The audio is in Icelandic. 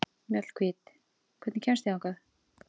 Mjallhvít, hvernig kemst ég þangað?